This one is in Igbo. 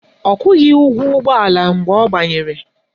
Ọ kwụghị ụgwọ ụgbọala mgbe ọ banyere